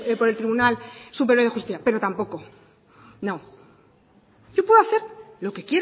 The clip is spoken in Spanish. por el tribunal superior de justicia pero tampoco no yo puedo hacer lo que